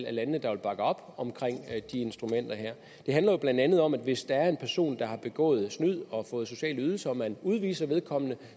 af landene der vil bakke op omkring de instrumenter her det handler jo blandt andet om at hvis der er en person der har begået snyd og fået sociale ydelser så man udviser vedkommende